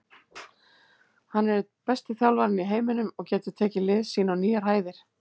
Hann er einn besti þjálfarinn í heiminum og getur tekið lið sín á nýjar hæðir.